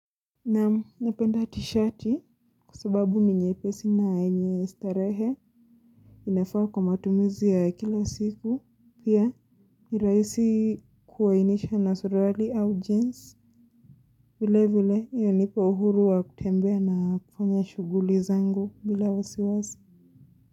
Naam, napenda tshati kusababu ninyepesi na enye starehe inafaa kwa matumizia kila siku pia nirahisi kuwainisha na surali au jeans vile vile yonipo uhuru wa kutembea na kufanya shuguli zangu bila wasiwazi.